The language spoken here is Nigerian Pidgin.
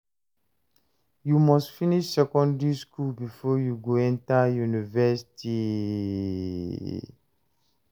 You must finish secondary skool before you go enta university.